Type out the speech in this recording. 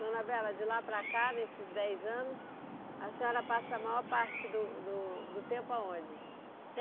Dona Bela, de lá para cá, nesses dez anos, a senhora passa a maior parte do do do tempo aonde?